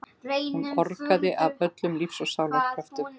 Hún orgaði af öllum lífs og sálar kröftum.